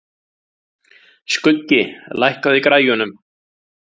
Skuggi, lækkaðu í græjunum.